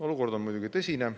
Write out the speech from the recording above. Olukord on muidugi tõsine.